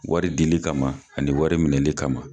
Wari dili kama ani wari minɛli kama.